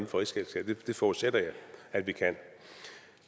for rigsfællesskabet det forudsætter jeg at vi kan